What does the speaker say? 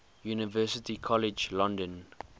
university college london